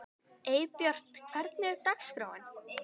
Eybjört, hvernig er dagskráin?